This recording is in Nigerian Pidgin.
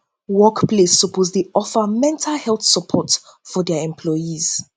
work place place suppose dey offer mental health support for dia employees